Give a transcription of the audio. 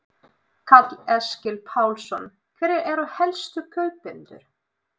Karl Eskil Pálsson: Hverjir eru helstu kaupendur?